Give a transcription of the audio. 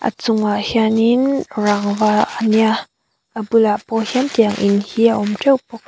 a chungah hianin rangva a nia a bulah pawh hian tiang in hi a awm ṭeuh bawk a.